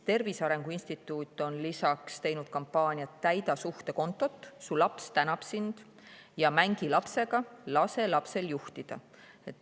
Tervise Arengu Instituut on teinud kampaania "Täida suhtekontot – su laps tänab sind" ning lapsega mängimise kampaania "Lase lapsel juhtida".